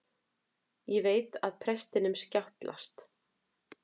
Ég veit að prestinum skjátlast.